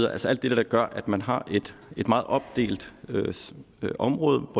altså alt det der gør at man har et meget opdelt område